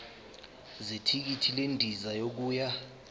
zethikithi lendiza yokuya